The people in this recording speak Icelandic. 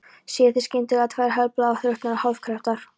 Sé ég þá skyndilega tvær helbláar, þrútnar og hálfkrepptar